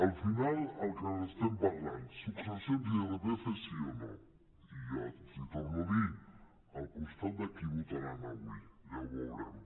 al final el que estem parlant successions i irpf sí o no i els ho torno a dir al costat de qui votaran avui ja ho veurem